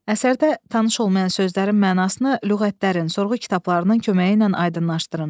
Əsərdə tanış olmayan sözlərin mənasını lüğətlərin, sorğu kitablarının köməyi ilə aydınlaşdırın.